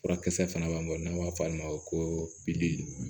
Furakisɛ fana b'an bolo n'an b'a fɔ olu ma ko